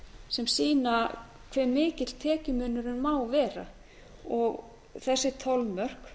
sem sýna hve mikill tekjumunurinn má vera og þessi þolmörk